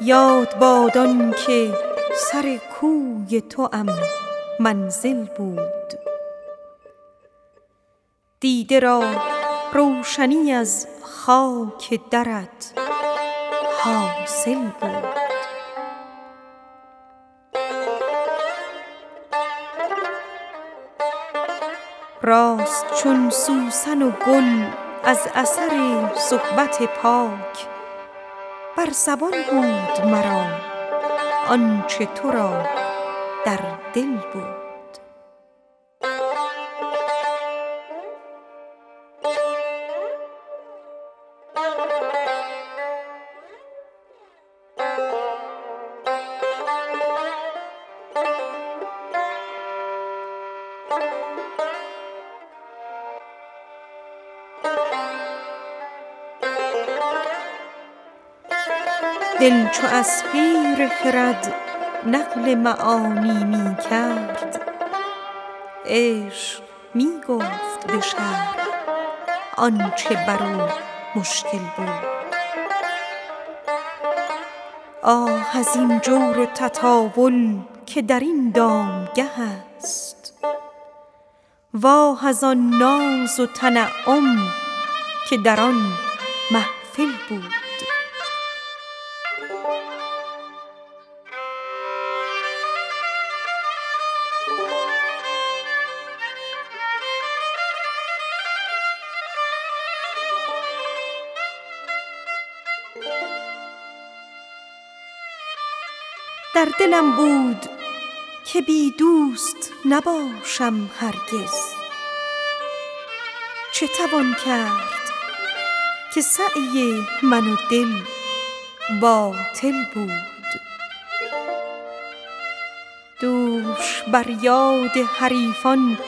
یاد باد آن که سر کوی توام منزل بود دیده را روشنی از خاک درت حاصل بود راست چون سوسن و گل از اثر صحبت پاک بر زبان بود مرا آن چه تو را در دل بود دل چو از پیر خرد نقل معانی می کرد عشق می گفت به شرح آن چه بر او مشکل بود آه از آن جور و تطاول که در این دامگه است آه از آن سوز و نیازی که در آن محفل بود در دلم بود که بی دوست نباشم هرگز چه توان کرد که سعی من و دل باطل بود دوش بر یاد حریفان